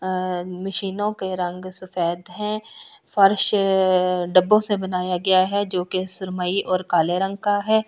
अ मशीनों के रंग सफेद हैं फर्श डब्बों से बनाया गया है जो कि सुरमई और काले रंग का है।